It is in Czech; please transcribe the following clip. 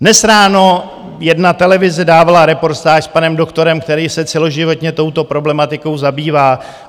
Dnes ráno jedna televize dávala reportáž s panem doktorem, který se celoživotně touto problematikou zabývá.